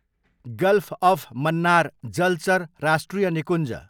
golf of Mannar जलचर राष्ट्रिय निकुञ्ज